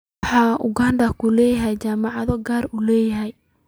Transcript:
Waxaan Uganda ku leenahay jaamacado gaar loo leeyahay.